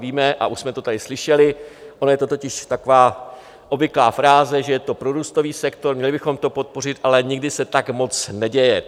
Víme, a už jsme to tady slyšeli, ona je to totiž taková obvyklá fráze, že je to prorůstový sektor, měli bychom to podpořit, ale nikdy se tak moc neděje.